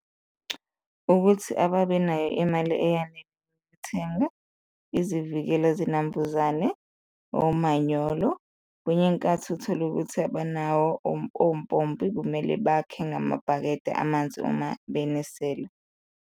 Ukuthi ababenayo imali eyanele ukuthenga izivikela zinambuzane, omanyolo, kwenye inkathi uthole ukuthi abanawo ompompi, kumele bakhe ngamabhakede amanzi uma benisela.